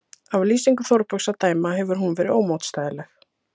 Af lýsingu Þórbergs að dæma hefur hún verið ómótstæðileg.